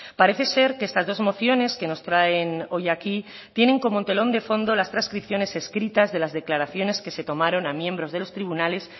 parece ser que estas dos mociones que nos traen hoy aquí tienen como telón de fondo las transcripciones escritas de las declaraciones que se tomaron a miembros de los tribunales